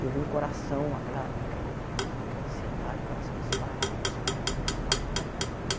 Eu vi um coração, aquela aquele aquela ansiedade, o coração disparado, disparado, disparado.